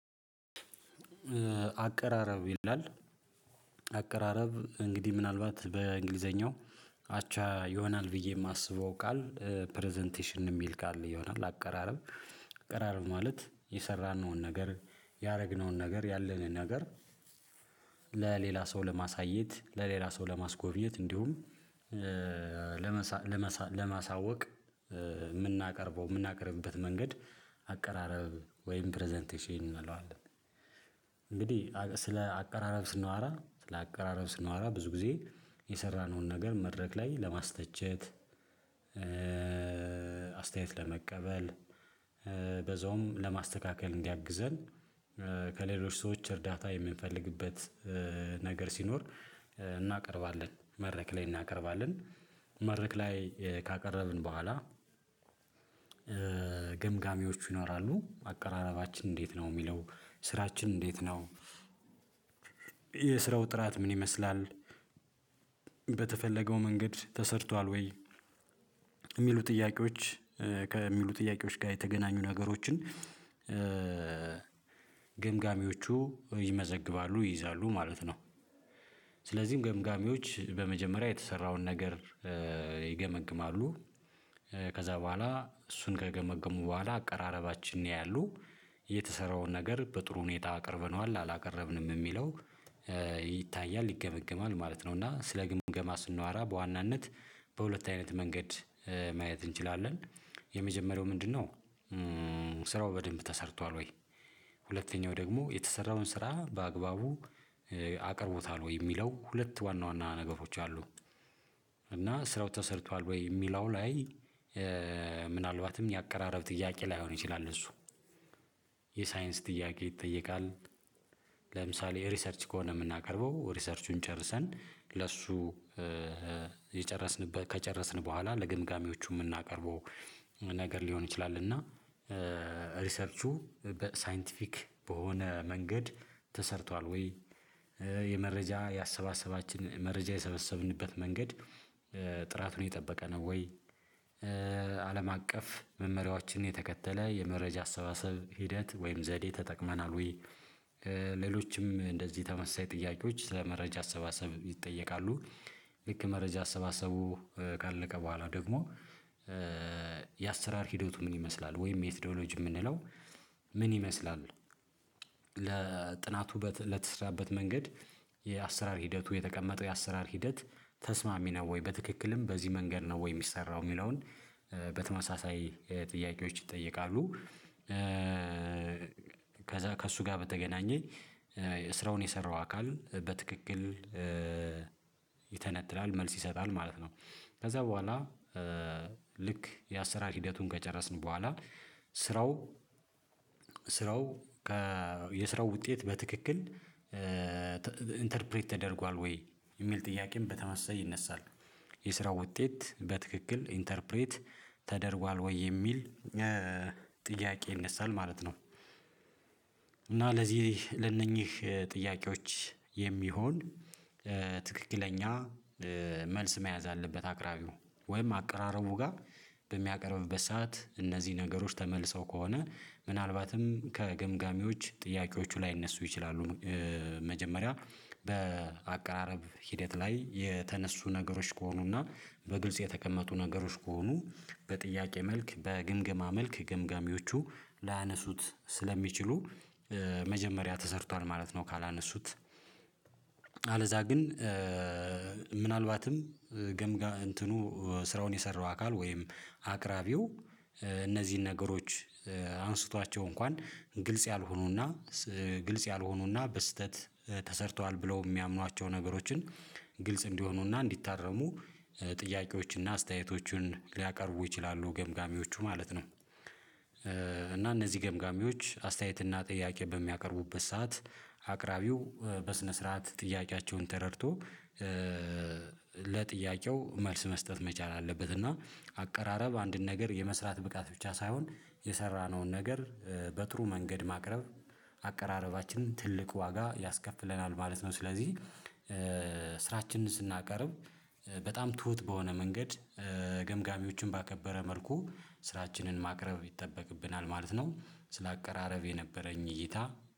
አቀራረብ ይላል። አቀራረብ እንግዲህ ምናልባት በእንግሊዘኛው አቻ ይሆናል ብዬ የማስበው ቃል ፕረዘንቴሽን የሚል ቃል ይሆናል። አቀራረብ። አቀራረብ ማለት የሰራነውን ነገር ያደረግነውን ነገር ያለንን ነገር ለሌላ ሰው ለማሳየት ለሌላ ሰው ለማስጎብኘት እንዲሁም ለመሳወቅ የምናቀርበው የምናቀርብበት መንገድ አቀራረብ ወይም ፕረዘንቴሽን እናለዋለን። እንግዲህ ስለ አቀራረብ ስናወራ ስለ አቀራረብ ስናወራ ብዙ ጊዜ የሰራነውን ነገር መድረክ ላይ ለማስተቸት። አስተያየት ለመቀበል በዛውም ለማስተካከል እንዲያግዘን ከሌሎች ሰዎች እርዳታ የምንፈልግበት ነገር ሲኖር እናቀርባለን መረክ ላይ እናቀርባለን። መድረክ ላይ ካቀረብን በኋላ። ገምጋሚዎች ይኖራሉ አቀራረባችን እንዴት ነው የሚለው ስራችን እንዴት ነው? የስራው ጥራት ምን ይመስላል? በተፈለገው መንገድ ተሰርቷል ወይ የሚሉ ጥያቄዎች ከሚሉ ጥያቄዎች ጋር የተገናኙ ነገሮችን። ግምጋሚዎቹ ይመዘግባሉ ይይዛሉ ማለት ነው። ስለዚህም ገምጋሚዎች በመጀመሪያ የተሰራውን ነገር ይገመግማሉ። ከዛ በኋላ እሱን ከገመገሙ በኋላ አቀራረባችን ያያሉ የተሰራውን ነገር በጥሩ ሁኔታ አቅርበነዋል አላቀረብንም የሚለው። ይታያል ይገመግማል ማለት ነው። እና ስለ ግምገማ ስናወራ በዋናነት በሁለት አይነት መንገድ ማየት እንችላለን። የመጀመሪያው ምንድነው? ስራው በደንብ ተሰርቷል ወይ? ሁለተኛው ደግሞ የተሰራውን ስራ በአግባቡ አቅርቦታል ወይ የሚለው ሁለት ዋና ዋና ነገሮች አሉ። እና ስራው ተሰርቷል ወይ የሚለው ላይ። ምናልባትም የአቀራረብ ጥያቄ ላይሆን ይችላል እሱ የሳይንስ ጥያቄ ይጠየቃል። ለምሳሌ ሪሰርች ከሆነ የምናቀርበው ሪሰርቹን ጨርሰን ለሱ የጨረስንበት ከጨረስን በኋላ ለገምጋሚዎቹ የምናቀርበው። ነገር ሊሆን ይችላል እና ሪሰርቹ በሳይንቲፊክ በሆነ መንገድ ተሰርቷል ወይ? የመረጃ ያሰባሰባችን መረጃ የሰበሰብንበት መንገድ ጥራቱን የጠበቀ ነው ወይ? አለም አቀፍ መመሪያዎችን የተከተለ የመረጃ አሰባሰብ ሂደት ወይም ዘዴ ተጠቅመናል ወይ? ሌሎችም እንደዚህ ተመሳሳይ ጥያቄዎች ስለ መረጃ አሰባሰብ ይጠየቃሉ። ልክ መረጃ አሰባሰቡ ካለቀ በኋላ ደግሞ የአሰራር ሂደቱ ምን ይመስላል ወይም የሜትዶሎጂ የምንለው ምን ይመስላል? ለጥናቱ ለተስራበት መንገድ የአሰራር ሂደቱ የተቀመጠው የአሰራር ሂደት ተስማሚ ነው ወይ በትክክልም በዚህ መንገድ ነው ወይ የሚሰራው የሚለውን በተመሳሳይ ጥያቄዎች ይጠየቃሉ። ከዛ ከእሱ ጋር በተገናኘ ስራውን የሰራው አካል በትክክል ይተነትላል መልስ ይሰጣል ማለት ነው። ከዛ በኋላ ልክ የአሰራር ሂደቱን ከጨረስን በኋላ ስራው ስራው የስራው ውጤት በትክክል ኢንተርፕሬት ተደርጓል ወይ የሚል ጥያቄም በተመሳሳይ ይነሳል። የስራው ውጤት በትክክል ኢንተርፕሬት ተደርጓል ወይ የሚል ጥያቄ ይነሳል ማለት ነው። እና ለዚህ ለእነኚህ ጥያቄዎች የሚሆን ትክክለኛ መልስ መያዝ አለበት አቅራቢው ወይም አቀራረቡ ጋር በሚያቀርብበት ሰዓት እነዚህ ነገሮች ተመልሰው ከሆነ ምናልባትም ከገምጋሚዎች ጥያቄዎቹ ላይ እነሱ ይችላሉ። መጀመሪያ በአቀራረብ ሂደት ላይ የተነሱ ነገሮች ከሆኑና በግልጽ የተቀመጡ ነገሮች ከሆኑ በጥያቄ መልክ በግምገማ መልክ ግምገሚዎቹ ላነሱት ስለሚችሉ። መጀመሪያ ተሰርቷል ማለት ነው። ካላነሱት አለዛ ግን ምናልባትም ገምጋ እንትኑ ስራውን የሰራው አካል ወይም አቅራቢው እነዚህን ነገሮች አንስቷቸው እንኳን ግልጽ ያልሆኑና ግልጽ ያልሆኑና በስህተት ተሰርተዋል ብለው የሚያምኗቸው ነገሮችን ግልጽ እንዲሆኑና እንዲታረሙ ጥያቄዎችንና አስተያየቶችን ሊያቀርቡ ይችላሉ ገምጋሚዎቹ ማለት ነው። እና እነዚህ ገምጋሚዎች አስተያየት እና ጥያቄ በሚያቀርቡበት ሰዓት አቅራቢው በስነ ስርዓት ጥያቄያቸውን ተረድቶ ለጥያቄው መልስ መስጠት መቻል አለበት። እና አቀራረብ አንድን ነገር የመስራት ብቃት ብቻ ሳይሆን የሰራነውን ነገር በጥሩ መንገድ ማቅረብ አቀራረባችንን ትልቅ ዋጋ ያስከፍለናል ማለት ነው። ስለዚህ ስራችንን ስናቀርብ በጣም ትሁት በሆነ መንገድ ገምጋሚዎችን ባከበረ መልኩ ስራችንን ማቅረብ ይጠበቅብናል ማለት ነው። ስለ አቀራረብ የነበረኝ እይታ